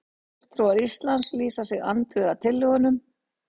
Fulltrúar Íslands lýsa sig andvíga tillögunum